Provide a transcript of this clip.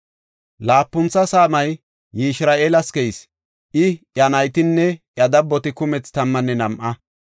Laapuntha saamay Yishira7eelas keyis; I, iya naytinne iya dabboti kumethi tammanne nam7a.